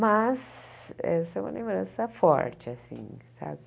Mas essa é uma lembrança forte, assim, sabe?